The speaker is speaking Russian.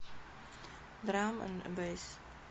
драм энд бэйс